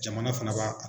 Jamana fana b'a